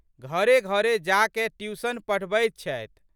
घरेघरे जाकए ट्यूशन पढ़बैत छथि।